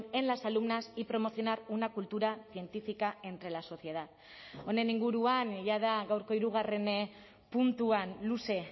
en las alumnas y promocionar una cultura científica entre la sociedad honen inguruan jada gaurko hirugarren puntuan luze